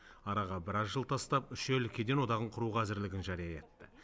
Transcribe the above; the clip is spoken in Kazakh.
араға біраз жыл тастап үш ел кеден одағын құруға әзірлігін жария етті